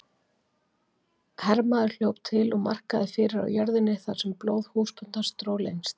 Hermaður hljóp til og markaði fyrir á jörðinni þar sem blóð húsbóndans dró lengst.